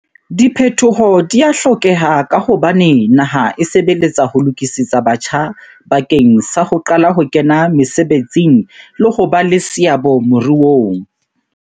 Diphetoho di a hlokeha ka hobane naha e sebeletsa ho lokisetsa batjha bakeng sa ho qala ho kena mesebetsing le ho ba le seabo moruong.